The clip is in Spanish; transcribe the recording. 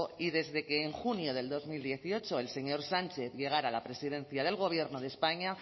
y desde que en junio del dos mil dieciocho el señor sánchez llegara a la presidencia del gobierno de españa